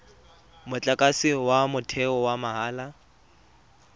motlakase wa motheo wa mahala